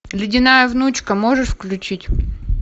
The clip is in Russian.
ледяная внучка можешь включить